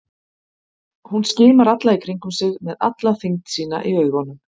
Hún skimar í kringum sig með alla þyngd sína í augunum.